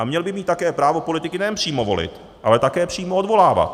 A měl by mít také právo politiky nejen přímo volit, ale také přímo odvolávat.